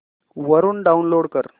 वरून डाऊनलोड कर